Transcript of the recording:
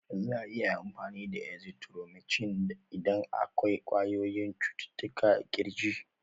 Za'a iya amfani da azithromicin idan akwai ƙwayoyyin cututtuka a ƙirji.